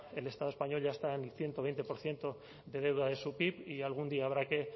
el estado español ya está en el ciento veinte por ciento de deuda de su pib y algún día habrá que